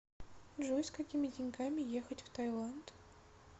джой с какими деньгами ехать в таиланд